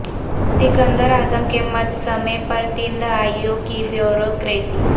سکند راعظم کے مجسمے پر تین دہائیوں کی بیوروکریسی